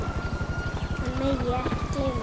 Hann megi ekki gleyma því.